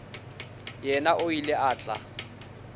yena o ile a tla